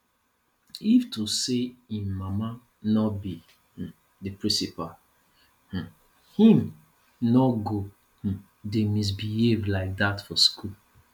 if to say im mama no be um the principal um im no go um dey misbehave like dat for school